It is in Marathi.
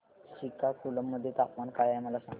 श्रीकाकुलम मध्ये तापमान काय आहे मला सांगा